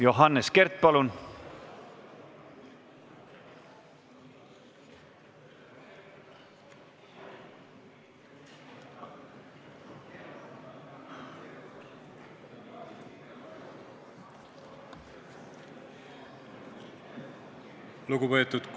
Johannes Kert, palun!